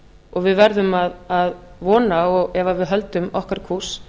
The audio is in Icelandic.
og við verðum að vona ef við höldum okkar kúrs